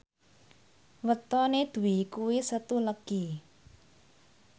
wetone Dwi kuwi Setu Legi